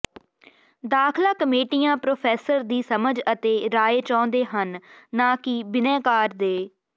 ਦਾਖਲਾ ਕਮੇਟੀਆਂ ਪ੍ਰੋਫੈਸਰ ਦੀ ਸਮਝ ਅਤੇ ਰਾਏ ਚਾਹੁੰਦੇ ਹਨ ਨਾ ਕਿ ਬਿਨੈਕਾਰ ਦੇ